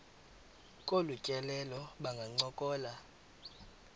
kolu tyelelo bangancokola